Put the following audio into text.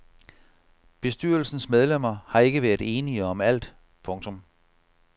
Bestyrelsens medlemmer har ikke været enige om alt. punktum